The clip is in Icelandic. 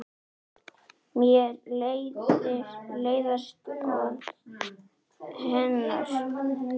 Mér leiðast orð hennar.